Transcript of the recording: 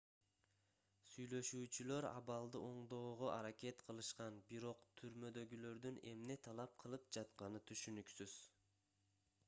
сүйлөшүүчүлөр абалды оңдоого аракет кылышкан бирок түрмөдөгүлөрдүн эмне талап кылып жатканы түшүнүксүз